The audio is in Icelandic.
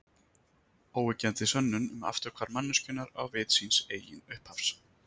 Óyggjandi sönnun um afturhvarf manneskjunnar á vit síns eigin upphafs.